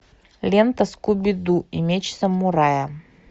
лента скуби ду и меч самурая